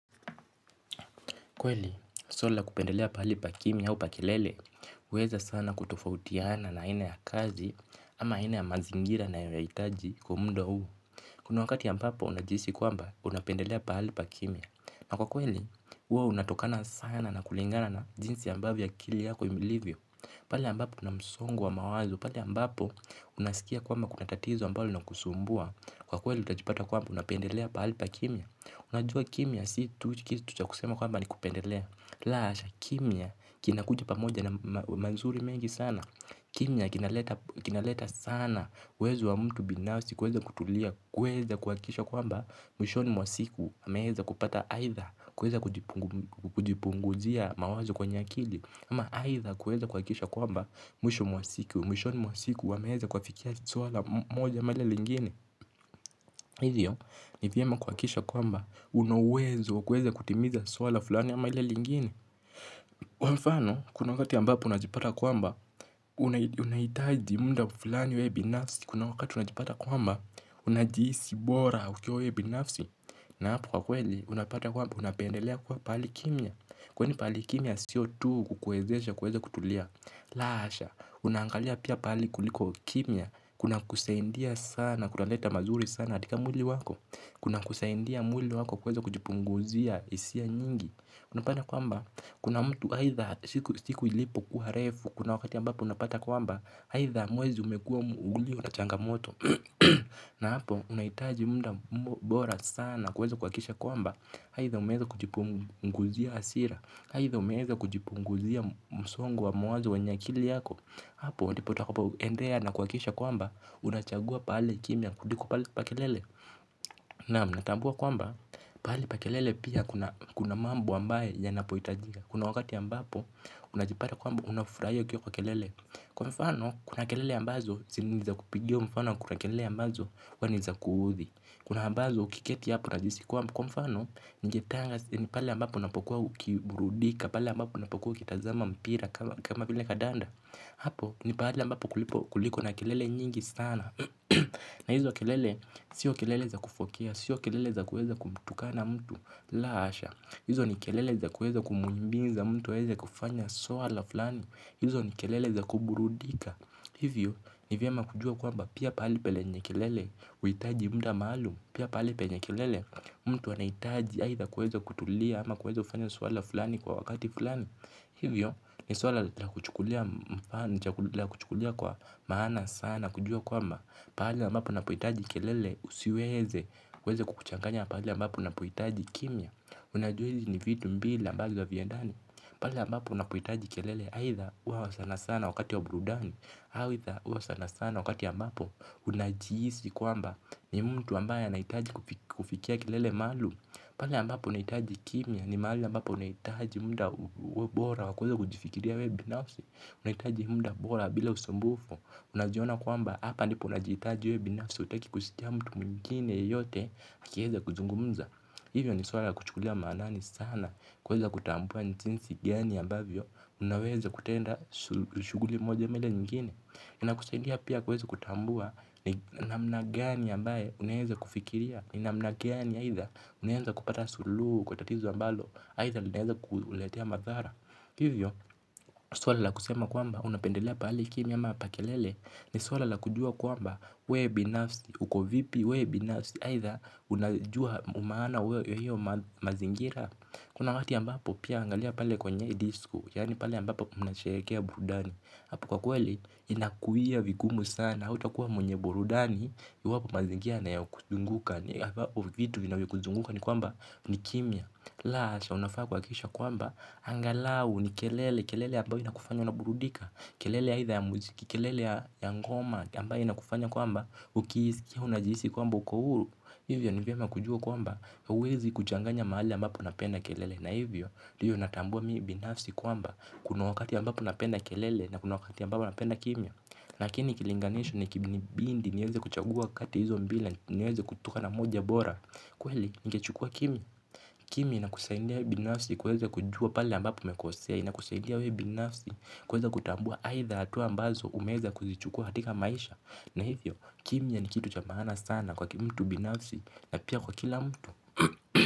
Kweli, suala la kupendelea mahali pa kimya au pa kelele, huweza sana kutofautiana kulingana na aina ya kazi au aina ya mazingira ninayoyahitaji kwa muda huo. Kuna wakati ambapo unajihisi kwamba unapendelea mahali pa kimya. Na kwa kweli, huwa unatokana sana na kulingana na jinsi akili yako ilivyo. Pale ambapo kuna msongo wa mawazo, pale ambapo unasikia kwamba kuna tatizo ambalo linakusumbua. Kwa kweli utajipata kwamba unapendelea pahali pa kimya. Unajua kimya si tu kusema kwamba ni kupendelea, la hasha kimya kinakuja pamoja na mazuri mengi sana. Kimya kinaleta sana uwezo wa mtu binafsi kuweza kutulia, kuweza kuhakikisha kwamba mwishoni mwa siku ameweza kupata aidha, kuweza kujipunguzia mawazo kwenye akili, ama aidha kuweza kuhakikisha kwamba mwishoni mwa siku ameweza kufikia lengo moja ama lingine. Hivyo ni vyema kuhakikisha kwamba una uwezo kuweza kutimiza swala fulani ama ile lingine. Kwa mfano kuna wakati ambapo unajipata kwamba unahitaji muda fulani wewe binafsi. Kuna wakati unajipata kwamba unajihisi bora ukiwa wewe binafsi. Na hapo kwa kweli unapata kwamba unapendelea kwa pahali kimya. Kwani pahali kimya sio tu kukuwezesha kuweza kutulia. La hasha unangalia pia pahali kuliko kimya kuna kusaidia sana kutaleta mazuri sana katika mwili wako. Kuna kusaidia mwili wako kuweza kujipunguzia hisia nyingi. Unapata kwamba kuna mtu aidha siku ilipo kuwa refu. Kuna wakati ambapo unapata kwamba aidha mwezi umekuwa ulio na changamoto. Na hapo unahitaji muda bora sana kuweza kuhakikisha kwamba aidha umeweza kujipunguzia hasira aidha umeweza kujipunguzia msongo wa mawazo wenye akili yako. Hapo ndipo utakapo endea na kuhakisha kwamba unachagua pahali kimya kuliko pahali pa kelele. Nam natambua kwamba, pahali pa kelele pia kuna kuna mambo ambayo yanapohitajika kuna wakati ambapo, unajipata kwamba unafurahia ukiwa kwa kelele. Kwa mfano, kuna kelele ambazo, si naeza kupigio mfano kuna kelele ambazo, huwa ni za kuudhi. Kuna ambazo, ukiketi hapo unajisi kwamba kwa mfano, nje tanga, pale ambapo unapokuwa kiburudika. Pala ambapo unapokuwa ukitazama mpira kama vile kadanda. Hapo, ni pahali ambapo kuliko na kelele nyingi sana. Na hizo kelele, sio kelele za kufokea, sio kelele za kuweza kumtukana mtu la asha. Hizo ni kelele za kuweza kumhimiza mtu aweze kufanya suala fulani. Hizo ni kelele za kuburudika. Hivyo, ni vyema kujua kwamba pia pahali penye kelele, huitaji muda malum. Pia pahali penye kelele, mtu anahitaji aidha kuweza kutulia ama kuweza kufanya suala fulani kwa wakati fulani. Hivyo, ni suala la kuchukulia mfano, la kuchukulia kwa maana sana na kujua kwamba pali ambapo napohitaji kelele usiweze kukuchanganya pahali ambapo napohtaji kimya unajua hizi ni vitu mbili ambazo haviendani pale ambapo unapohitaji kelele aidha huwa sana sana wakati wa burudani aidha huwa sana sana wakati ambapo unajihisi kwamba ni mtu ambaye anahitaji kufikia kelele maalum pahali ambapo unahitaji kimya ni mahali ambapo unahitaji muda bora wa kuweza kujifikiria wewe binafsi unahitaji muda bora bila usumbufu unajiona kwamba hapa ndipo unajihitaji wewe binafsi hutaki kusikia mtu mwingine yeyote akieza kuzungumza hivyo ni swala la kuchukulia maanani sana kuweza kutambua ni jinsi gani ambavyo unaweza kutenda shuguli moja ama ile nyingine inakusaidia pia kuweza kutambua ni namna gani ambayo unaweza kufikiria, ni namna gani aidha unaweza kupata suluhu kwa tatizo ambalo, aidha inaweza kuletea madhara, hivyo swala la kusema kwamba unapendelea pahali kimya ama pa kelele, ni swala la kujua kwamba we binafsi uko vipi we binafsi aidha unajua maana ya hiyo mazingira kuna wakati ambapo pia angalia pale kwenye disko, yani pale ambapo unasherekea burudani, apo kwa kweli inakuwia vigumu sana, hautakuwa mwenye burudani, iwapo mazingira yanayokuzunguka, ambapo vitu vinavyokuzunguka ni kwamba ni kimya la asha unafaa kuhakisha kwamba angalau ni kelele kelele ambayo inakufanya unaburudika kelele aidha ya muziki, kelele ya ngoma, ambayo inakufanya kwamba, ukiisikia unajihisi kwamba uko huru, hivyo ni vyema kujua kwamba, huwezi kuchanganya mahali ambapo napenda kelele. Na hivyo, ndiyo natambua mimi binafsi kwamba, kuna wakati ambapo napenda kelele na kuna wakati ambapo napenda kimya. Lakini, kilinganisho ni ikinibidi, niweze kuchagua kati ya hizo mbili, niweze kutoka na moja bora. Kweli, ningechukua kimya, kimya inakusaindia binafsi, kuweza kujua pale ambapo umekosea, inakusaidia wewe binafsi, kuweza kutambua aidha hatua ambazo umeweza kuzichukua katika maisha na hivyo, kimya ni kitu cha maana sana kwake mtu binafsi na pia kwa kila mtu.